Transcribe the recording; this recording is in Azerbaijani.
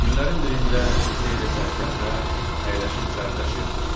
Günlərin birində fitnə ilə sərkərdə əyləşib dərdləşirdilər.